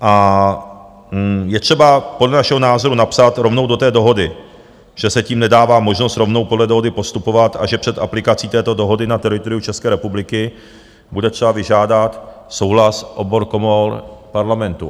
A je třeba podle našeho názoru napsat rovnou do té dohody, že se tím nedává možnost rovnou podle dohody postupovat a že před aplikací této dohody na teritoriu České republiky bude třeba vyžádat souhlas obou komor Parlamentu.